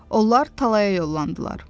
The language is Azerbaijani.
Onlar talaya yollandılar.